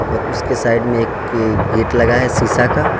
और उसके साइड में एक गेट लगा है शीशा का।